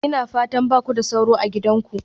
Ina fatan ba ku da sauro a gidanku?